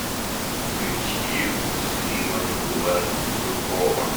включи муслима булатукова